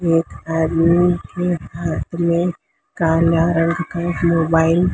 एक आदमी के हाथ में काला रंग का मोबाइल --